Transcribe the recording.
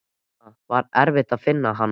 Sunna: Var erfitt að finna hann?